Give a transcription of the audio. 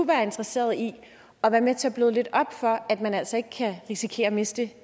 være interesseret i at være med til at bløde lidt op for at man altså ikke kan risikere at miste